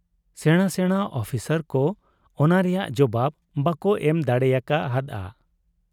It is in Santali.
ᱥᱮᱬᱟ ᱥᱮᱬᱟ ᱚᱯᱷᱤᱥᱟᱨ ᱠᱚ ᱚᱱᱟ ᱨᱮᱭᱟᱝ ᱡᱚᱵᱟᱵᱽ ᱵᱟᱠᱚ ᱮᱢ ᱫᱟᱲᱮᱭᱟᱠᱟ ᱦᱟᱫ ᱟ ᱾